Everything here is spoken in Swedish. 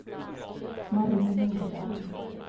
Mari Norberg